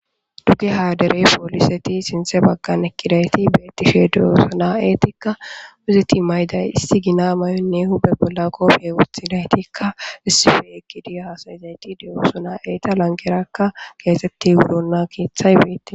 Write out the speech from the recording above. Dugeha dere poliseti sinte bagan eqidayti betishe de'osona etika izeti ma'day issi gina may'onne huphe bola qophe wutidaytikka issife eqidi hasa'izayti de'osona eta lanqeraka kexeti wurona kethay betes.